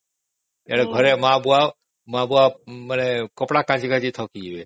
ସେଆଡେ଼ ଘରେ ମା ବାପ କପଡା କାଚି କାଚି ଥକିଯିବେ